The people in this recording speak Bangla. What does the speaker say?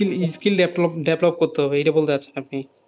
Skill develop করতে হবে, এটা বলতে চাইছেন আপনি,